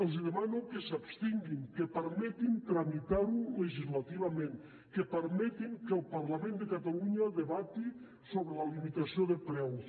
els demano que s’abstinguin que permetin tramitar ho legislativament que permetin que el parlament de catalunya debati sobre la limitació de preus